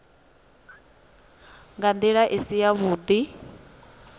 nga ndila i si yavhudi